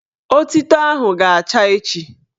Otito ahụ ga-acha echi